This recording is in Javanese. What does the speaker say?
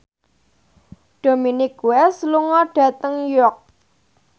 Dominic West lunga dhateng York